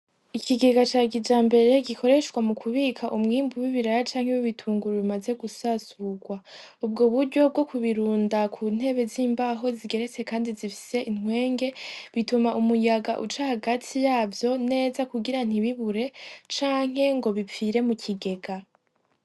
Ikigega ca kijambere gikoreshwa mukubika umwimbu w'ibiraya canke w'ibitunguru bimaze gusasugwa. Ubwo buryo bwokubirunda kuntebe zimbaho zigeretse kandi zifise intwenge, bituma umuyaga uca yagati yavyo neza kugira ntibibure canke ngo bipfire mukigega.